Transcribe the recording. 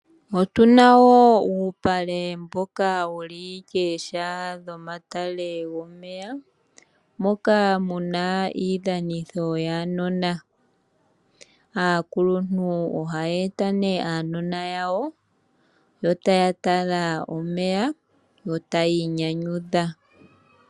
Otu na wo uupale mboka wuli kooha dhomatale gomeya, moka mu na iidhanitho yaanona. Aakuluntu ohaye eta nee aanona yawo, yo taya tala omeya, yo tayi inyanyudha.